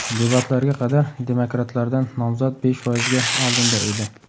Debatlarga qadar demokratlardan nomzod besh foizga oldinda edi.